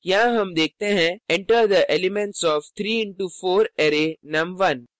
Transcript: यहाँ हम देखते हैं enter the elements of 3 into 4 array num1